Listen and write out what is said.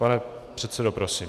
Pane předsedo, prosím.